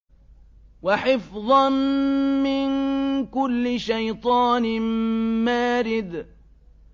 وَحِفْظًا مِّن كُلِّ شَيْطَانٍ مَّارِدٍ